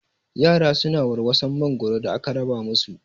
Yara su na warwason mangoro da aka raba mu su